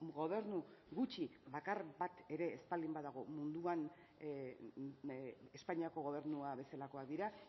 gobernu gutxi bakar bat ere ez baldin badago munduan espainiako gobernua bezalakoak dira